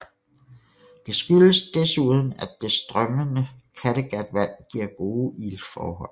Det skyldes desuden at det strømmende Kattegatvand giver gode iltforhold